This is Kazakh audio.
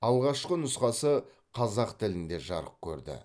алғашқы нұсқасы қазақ тілінде жарық көрді